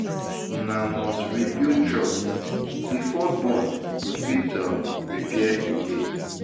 Una must rebuild trust before bond go fit um repair again.